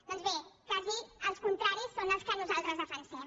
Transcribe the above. doncs bé quasi els contraris són els que nosaltres defensem